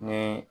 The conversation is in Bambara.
Ni